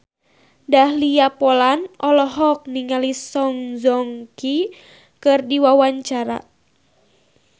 Dahlia Poland olohok ningali Song Joong Ki keur diwawancara